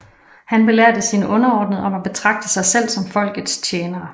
Han belærte sine underordnede om at betragte sig selv som folkets tjenere